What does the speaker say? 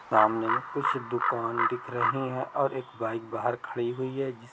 सामने में कुछ दुकान दिख रही है और एक बाइक बाहर पर खड़ी हुई है।